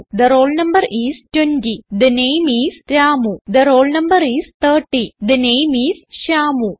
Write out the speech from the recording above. the roll no is 20 the name is Ramu the roll no is 30 the name is Shyamu